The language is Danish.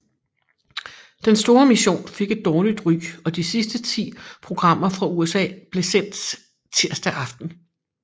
Den Store Mission fik et dårligt ry og de sidste ti programmer fra USA blev sendt tirsdag aften